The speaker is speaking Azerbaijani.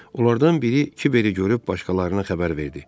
Onlardan biri Kiveri görüb başqalarına xəbər verdi.